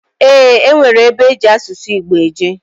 Eeǃ E nwere ebe eji asụsụ Igbo eje.